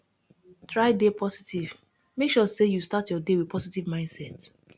try de positive make sure say you start your day with positive mindset